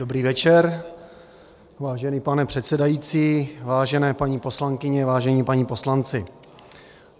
Dobrý večer, vážený pane předsedající, vážené paní poslankyně, vážení páni poslanci.